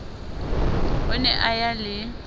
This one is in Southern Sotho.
o ne a ya le